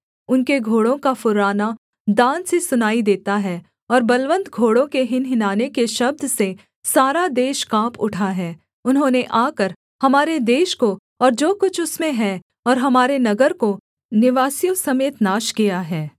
उनके घोड़ों का फुर्राना दान से सुनाई देता है और बलवन्त घोड़ों के हिनहिनाने के शब्द से सारा देश काँप उठा है उन्होंने आकर हमारे देश को और जो कुछ उसमें है और हमारे नगर को निवासियों समेत नाश किया है